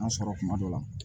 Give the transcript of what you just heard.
An sɔrɔ kuma dɔ la